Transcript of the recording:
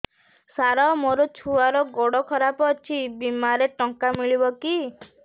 ସାର ମୋର ଛୁଆର ଗୋଡ ଖରାପ ଅଛି ବିମାରେ ଟଙ୍କା ମିଳିବ କି